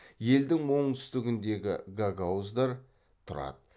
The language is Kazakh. елдің оңтүстігіндегі гагауыздар тұрады